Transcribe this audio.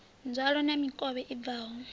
nzwalo na mikovhe i bvaho